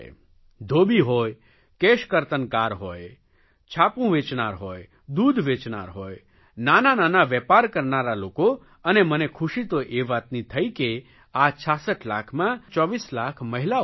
ધોબી હોય કેશકર્તનકાર હોય છાપું વાંચનાર હોય દૂધ વેચનાર હોય નાના નાના વેપાર કરનારા લોકો અને મને ખુશી તો એ વાતની થઇ કે આ 66 લાખમાં લગભગ 24 લાખ મહિલાઓ છે